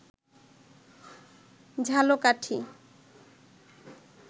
Jhalakathi